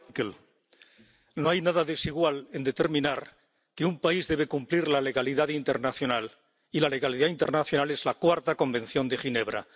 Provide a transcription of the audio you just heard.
Señor Gericke, no hay nada desigual en determinar que un país debe cumplir la legalidad internacional y la legalidad internacional es el Cuarto Convenio de Ginebra.